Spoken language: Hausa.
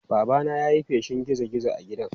Babana ya yi feshin gizo-gizo a gidan.